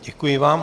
Děkuji vám.